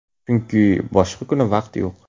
Chunki boshqa kuni vaqt yo‘q.